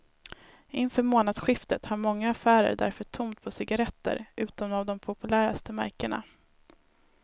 Inför månadsskiftet har många affärer därför tomt på cigaretter utom av de populäraste märkena.